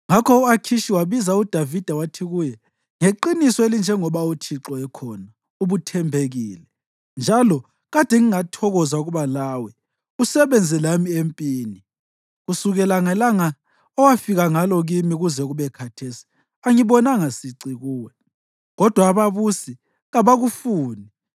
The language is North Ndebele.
Ngakho u-Akhishi wabiza uDavida wathi kuye, “Ngeqiniso elinjengoba uThixo ekhona, ubuthembekile, njalo kade ngingathokoza ukuba lawe usebenze lami empini. Kusukela ngelanga owafika ngalo kimi kuze kube khathesi, angibonanga sici kuwe, kodwa ababusi kabakufuni.